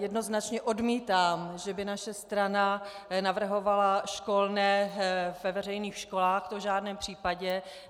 Jednoznačně odmítám, že by naše strana navrhovala školné ve veřejných školách, to v žádném případě.